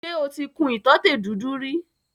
Ṣe o ti kun ìtọ́tè dúdú rí?